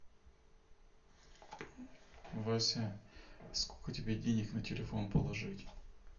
вася сколько тебе денег на телефон положить